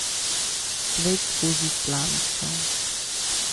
Svet skozi slamico.